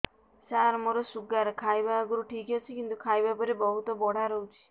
ସାର ମୋର ଶୁଗାର ଖାଇବା ଆଗରୁ ଠିକ ଅଛି କିନ୍ତୁ ଖାଇବା ପରେ ବହୁତ ବଢ଼ା ରହୁଛି